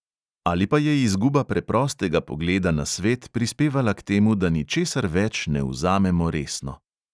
Ali pa je izguba preprostega pogleda na svet prispevala k temu, da ničesar več ne vzamemo resno?